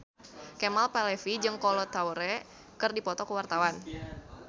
Kemal Palevi jeung Kolo Taure keur dipoto ku wartawan